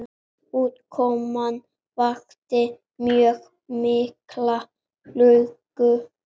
Útkoman vakti mjög mikla lukku.